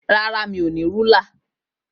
Rárá, mi ò ní alákòóso